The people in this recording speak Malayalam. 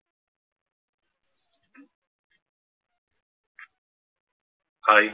Hai